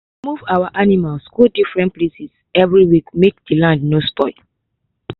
move animals go different places every week make the land no spoil.